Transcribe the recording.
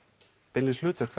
beinlínis hlutverk